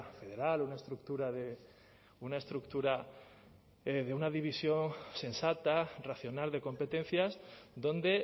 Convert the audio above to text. federal una estructura de una estructura de una división sensata racional de competencias donde